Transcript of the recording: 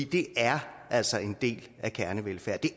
det er altså en del af kernevelfærden